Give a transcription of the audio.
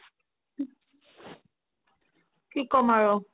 কি কম আৰু